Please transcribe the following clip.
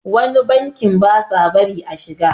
wani banki ba sa bari a shiga